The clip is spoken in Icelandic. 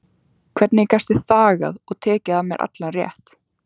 Hvernig gastu þagað og tekið af mér allan rétt?